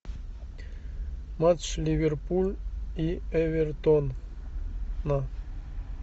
матч ливерпуль и эвертона